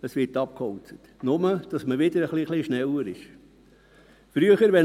Er wird abgeholzt – nur, damit man wieder ein kleines bisschen schneller ist.